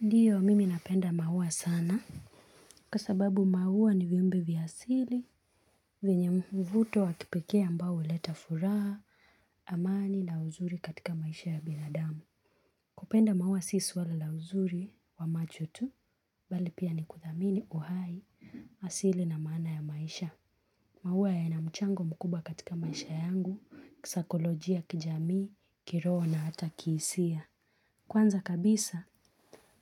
Ndiyo, mimi napenda maua sana. Kwa sababu maua ni viumbe vya asili, venye mvuto wa kipekee ambao huleta furaha, amani na uzuri katika maisha ya binadamu. Kupenda maua si swala la uzuri wa macho tu, bali pia ni kudhamini uhai, asili na maana ya maisha. Maua yana mchango mkubwa katika maisha yangu, kisaikolojia, kijamii, kiroho na hata kihisia. Kwanza kabisa,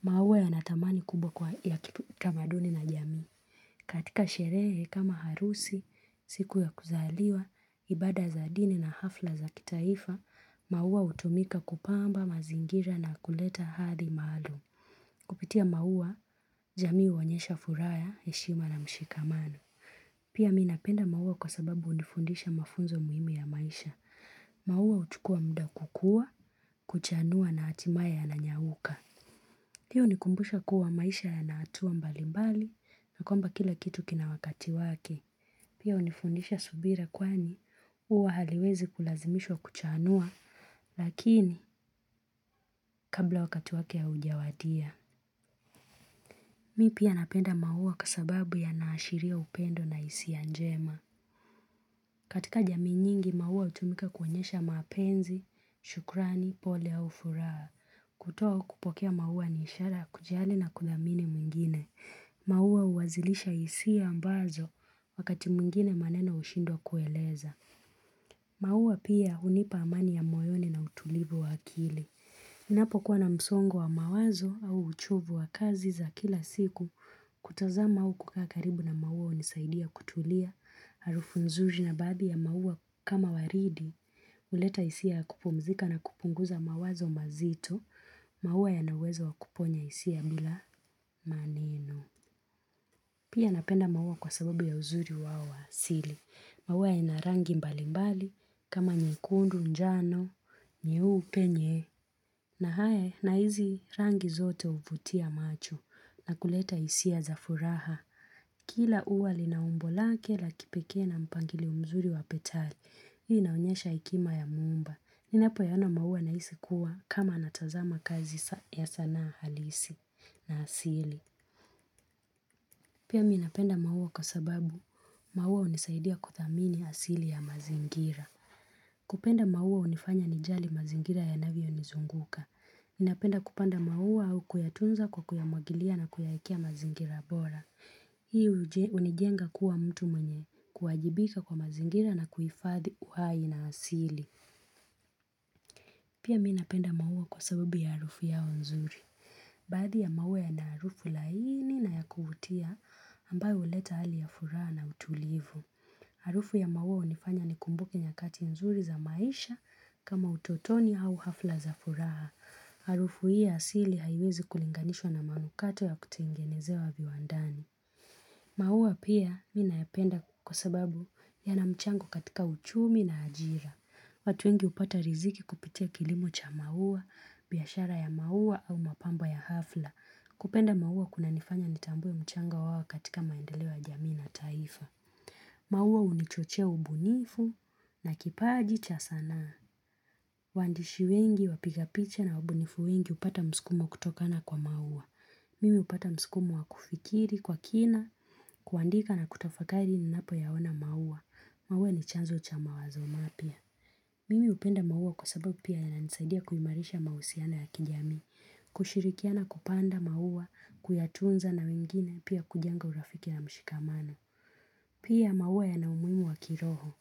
maua yana thamani kubwa kwa ya kitamaduni na jamii. Katika sherehe kama harusi, siku ya kuzaliwa, ibada za dini na hafla za kitaifa, maua hutumika kupamba mazingira na kuleta hadhi maalum. Kupitia maua, jamii huonyesha furaha ya heshima na mshikamano. Pia mi napenda maua kwa sababu hunifundisha mafunzo muhimu ya maisha. Maua huchukua muda kukua, kuchanua na hatimaye yananyauka. Hiyo hunikumbusha kuwa maisha yana hatua mbali mbali, na kwamba kila kitu kina wakati wake. Pia hunifundisha subira kwani ua haliwezi kulazimishwa kuchaanua lakini kabla wakati wake hujawadia. Mi pia napenda maua kwa sababu yanaashiria upendo na hisia njema. Katika jamii nyingi, maua hutumika kuonyesha mapenzi, shukrani, pole au furaha. Kutoa au kupokea maua ni ishara kujali na kudhamini mwingine. Maua huwazilisha hisia ambazo wakati mwingine maneno hushindwa kueleza. Maua pia hunipa amani ya moyoni na utulivu wa akili. Ninapokuwa na msongo wa mawazo au uchovu wa kazi za kila siku kutazama au kukaa karibu na maua hunisaidia kutulia, harufu nzuri na baadhi ya maua kama waridi. Huleta hisia ya kupumzika na kupunguza mawazo mazito, maua yana uwezo wa kuponya hisia bila maneno. Pia napenda maua kwa sababu ya uzuri wao wa asili. Maua ina rangi mbali mbali kama nyekundu, njano, nyeupe nye, na hae na hizi rangi zote huvutia macho na kuleta hisia za furaha. Kila ua lina umbo lake la kipekee na mpangilio mzuri wa petali, hii inaonyesha hekima ya muumba. Ninapoyaona maua nahisi kuwa, kama natazama kazi ya sana halisi na asili. Pia mi napenda maua kwa sababu, maua hunisaidia kuthamini asili ya mazingira. Kupenda maua hunifanya nijali mazingira yanavyonizunguka. Mi napenda kupanda maua au kuyatunza kwa kuyamwagilia na kuyaekea mazingira bora. Hii hunijenga kuwa mtu mwenye kuajibika kwa mazingira na kuhifadhi uhai na asili. Pia mi napenda maua kwa sababu ya harufu yao nzuri. Baadhi ya maua yana harufu lai ni na ya kuvutia, ambayo huleta hali ya furaha na utulivu. Harufu ya maua hunifanya nikumbuke nyakati nzuri za maisha kama utotoni au hafla za furaha. Harufu hii asili haiwezi kulinganishwa na manukato ya kutengenezewa viwandani. Maua pia mi naependa kwa sababu yana mchango katika uchumi na ajira. Watu wengi hupata riziki kupitia kilimo cha maua, biashara ya maua au mapambo ya hafla. Kupenda maua kunanifanya nitambue mchango wao katika maendeleo ya jamii na taifa. Maua hunichochea ubunifu na kipaji cha sanaa. Waandishi wengi, wapiga picha na wabunifu wengi hupata msukumo kutokana kwa maua. Mimi hupata msukumo wa kufikiri kwa kina, kuandika na kutafakari ninapoyaona maua. Maua ni chanzo cha mawazo mapya. Mimi hupenda maua kwa sababu pia yanisaidia kuimarisha mahusiano ya kijamii. Kushirikiana kupanda maua, kuyatunza na wengine pia kujenga urafiki na mshikamano Pia maua yana umuhimu wa kiroho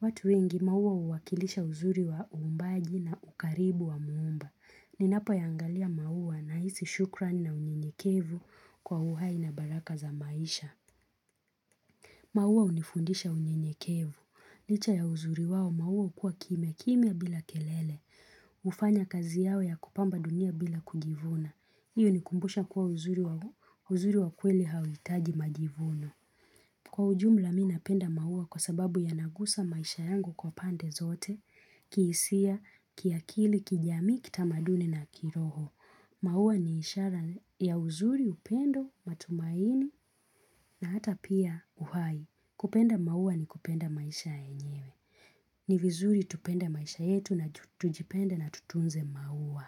watu wengi maua huwakilisha uzuri wa uumbaji na ukaribu wa muumba. Ninapoyaangalia maua nahisi shukran na unyenyekevu kwa uhai na baraka za maisha maua hunifundisha unyenyekevu. Licha ya uzuri wao maua hukua kimyakimya bila kelele hufanya kazi yao ya kupamba dunia bila kujivuna. Hiyo hunikumbusha kuwa uzuri wa kweli hauhitaji majivuno. Kwa ujumla mi napenda maua kwa sababu yanagusa maisha yangu kwa pande zote, kihisia, kiakili, kijamii, kitamaduni na kiroho. Maua ni ishara ya, uzuri upendo, matumaini na hata pia uhai. Kupenda maua ni kupenda maisha yenyewe. Ni vizuri tupende maisha yetu na tujipenda na tutunze maua.